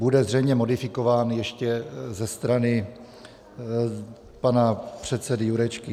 Bude zřejmě modifikován ještě ze strany pana předsedy Jurečky.